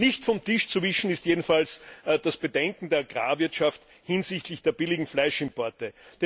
Nicht vom Tisch zu wischen ist jedenfalls das Bedenken der Agrarwirtschaft hinsichtlich der billigen Fleischimporte.